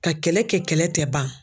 Ka kɛlɛ kɛ kɛlɛ tɛ ban.